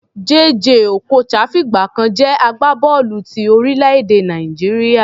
Jay Jay Okocha fìgbà kan jẹ́ agbábọ́ọ̀lù ti orílẹ̀-èdè Nàìjíríà.